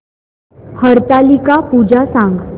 हरतालिका पूजा सांग